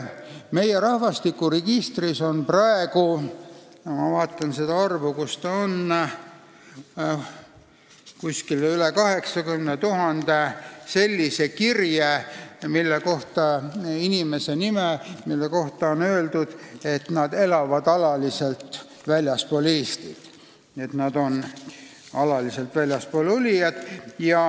Rahvastikuregistris on praegu 85 000 sellist kirjet, mille kohta on öeldud, et need inimesed elavad alaliselt väljaspool Eestit, et nad on alaliselt väljaspool olijad.